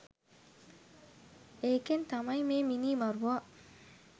ඒකෙන් තමයි මේ මිනීමරුවා